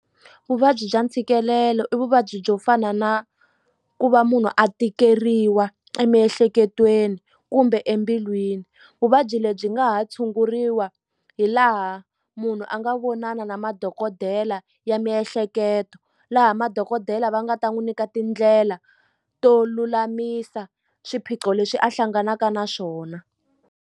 Vuvabyi bya ntshikelelo i vuvabyi byo fana na ku va munhu a tikeriwa emiehleketweni kumbe embilwini vuvabyi lebyi nga ha tshunguriwa hi laha munhu a nga vonana na madokodela ya miehleketo laha madokodela va nga ta n'wi nyika tindlela to lulamisa swiphiqo leswi a hlanganaka na swona.